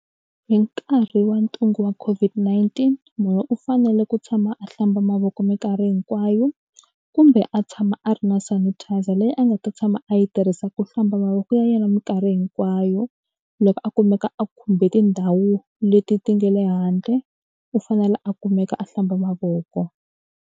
Hi nkarhi wa ntungu wa COVID-19 munhu u fanele ku tshama a hlamba mavoko minkarhi hinkwayo kumbe a tshama a ri na sanitizer leyi a nga ta tshama a yi tirhisaka ku hlamba mavoko ya yena minkarhi hinkwayo loko a kumeka a khumbe tindhawu leti ti nga le handle u fanele a kumeka a hlamba mavoko.